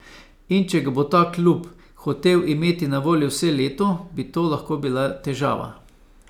In če ga bo ta klub hotel imeti na voljo vse leto, bi to lahko bila težava.